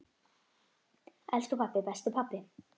Elsku pabbi, besti pabbi.